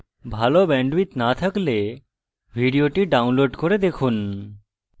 ভাল bandwidth না থাকলে ভিডিওটি download করে দেখুন